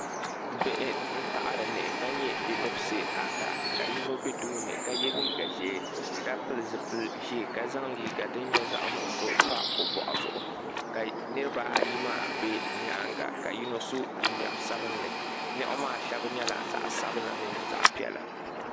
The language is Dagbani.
Bihi n taɣari niɣi ka nyɛ bidibsi ata ka yino bɛ tooni ka yɛ liiga ʒiɛ ka pili zipili ʒiɛ ka zaŋ liiga din nyɛ zaɣ nuɣso pa o boɣu zuɣu ka nirabaayi maa bɛ nyaanga ka yino so jinjɛm sabinli niɣi maa shab nyɛla zaɣ sabila mino zaɣ piɛla